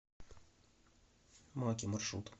маки маршрут